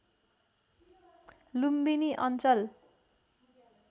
लुम्बिनी अञ्चल